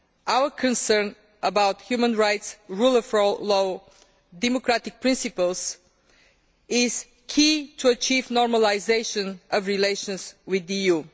our concern about human rights, the rule of law and democratic principles, is key to achieving normalisation of relations with the EU.